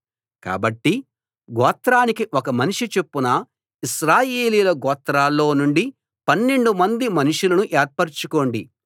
కాబట్టి గోత్రానికి ఒక మనిషి చొప్పున ఇశ్రాయేలీయుల గోత్రాల్లో నుండి పన్నెండుమంది మనుషులను ఏర్పరచుకోండి